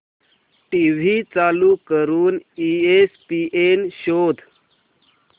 TV चालू करून ESPN शोध